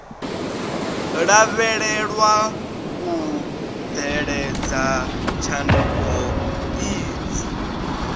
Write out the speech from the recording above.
lavhelewa u bveledza tshanduko idzi